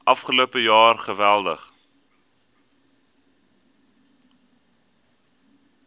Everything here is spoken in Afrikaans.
afgelope jaar geweldig